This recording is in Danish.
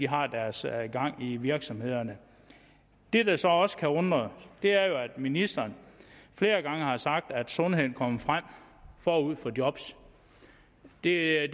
har deres gang i virksomhederne det der så også kan undre er at ministeren flere gange har sagt at sundhed kommer forud for job det er